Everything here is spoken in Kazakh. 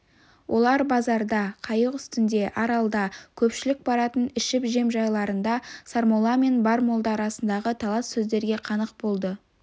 олар базарда қайық үстінде аралда көпшілік баратын ішіп-жем жайларында сармолла мен бар молда арасындағы талас сөздерге қанық болды